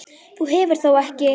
Þú hefur þó ekki.